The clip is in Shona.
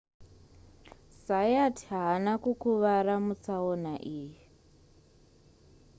zayat haana kukuvara mutsaona iyi